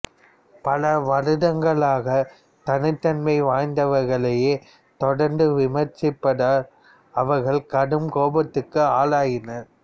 பல வருடங்களாக தனித்தன்மை வாய்ந்தவர்களையே தொடர்ந்து விமர்சிப்பதால் அவர்கள் கடும் கோபத்திற்கு ஆளாகினர்